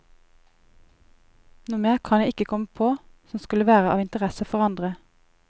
Noe mer kan jeg ikke komme på, som skulle være av interesse for andre.